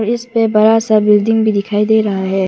इस पे बड़ा सा बिल्डिंग भी दिखाई दे रहा है।